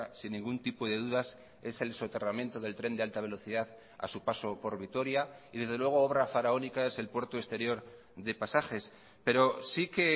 sin ningún tipo de dudas es el soterramiento del tren de alta velocidad a su paso por vitoria y desde luego obra faraónica es el puerto exterior de pasajes pero sí que